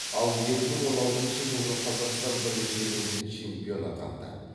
ал екі мың он алтыншы жылғы қазақстан біріншілігінде чемпион атанды